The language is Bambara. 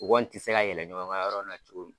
O kɔni tɛ se ka yɛlɛ ɲɔgɔn kan yɔrɔ min na cogo min.